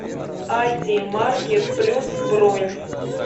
ати маркет плюс бронь